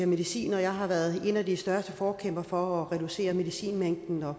medicin og jeg har været en af de største forkæmpere for at reducere medicinmængden og